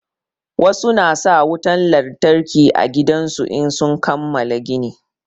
Wasu na sa wutan lantarki a gidajen su in sun kamala gini.